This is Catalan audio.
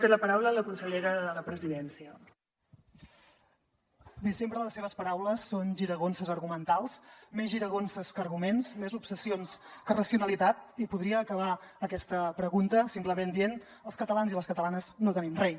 bé sempre les seves paraules són giragonses argumentals més giragonses que arguments més obsessions que racionalitat i podria acabar aquesta pregunta simplement dient els catalans i les catalanes no tenim rei